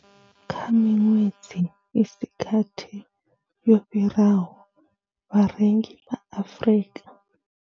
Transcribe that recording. Kha miṅwedzi i si gathi yo fhiraho, vharengi vha Afrika.